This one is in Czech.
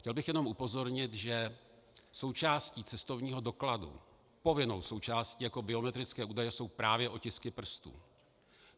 Chtěl bych jenom upozornit, že součástí cestovního dokladu, povinnou součástí jako biometrického údaje, jsou právě otisky prstů.